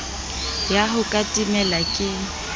ya ho ka timela ke